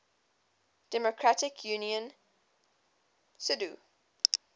democratic union cdu